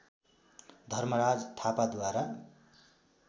Dharmaraj थापाद्वारा